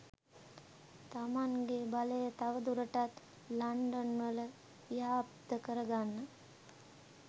තමන්ගේ බලය තව දුරටත් ලන්ඩන් වල ව්‍යාප්ත කරගන්න